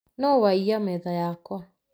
Nũwaia metha yakwa?